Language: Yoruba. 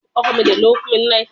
Bẹ́ẹ̀ni, mo wà ni ìbúdókọ̀ ọkọ̀ ojú omi